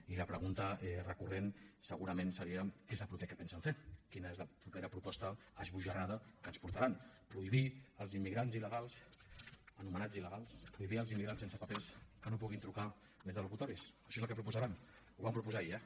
i la pregunta recurrent segurament seria què és el proper que pensen fer quina és la propera proposta esbojarrada que ens portaran prohibir als immigrants illegals anomenats il·legals prohibir als immigrants sense papers que no puguin trucar des de locutoris això és el que proposaran ho van proposar ahir eh